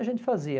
A gente fazia.